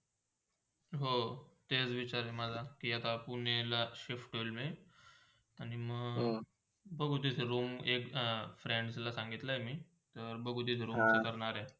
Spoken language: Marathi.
हो, तेच विचार आहे माझा कि आता पुजेला shift होंइल मी आणि म बघू तिथे room एकत्या friends सांगितला आहे मी जर बघूतिथे room चा करणार आहेत ती.